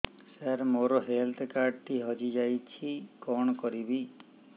ସାର ମୋର health card ଟି ହଜି ଯାଇଛି କଣ କରିବି